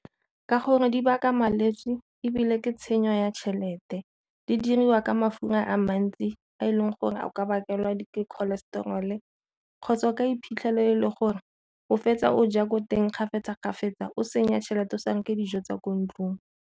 Ka gore di baka malwetse ebile ke tshenyo ya tšhelete, di diriwa ka mafura a mantsi a e leng gore a ka bakela di-cholestrol-e kgotsa o ka iphitlhela e le gore o fetsa o ja ko teng kgafetsa-kgafetsa o senya tšhelete o sa reke dijo tsa ko ntlong.